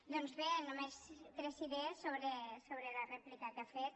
doncs bé només tres idees sobre la rèplica que ha fet